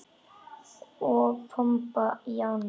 Og pompa í ána?